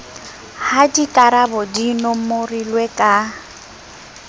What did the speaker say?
ha dikarabo di nomorilwe ka